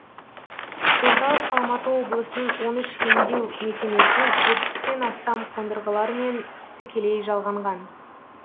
орталық алматы облысының он үш емдеу мекемесінің жетпістен астам қондырғыларымен тікелей жалғанған